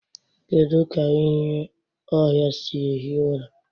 Kedu ka ịnyị ọhịa sị ehi ụra?